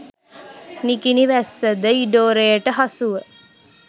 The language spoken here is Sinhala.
නිකිණි වැස්ස ද ඉඩෝරයට හසුව